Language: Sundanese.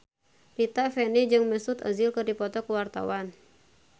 Rita Effendy jeung Mesut Ozil keur dipoto ku wartawan